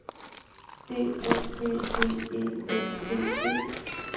D O B B E L T E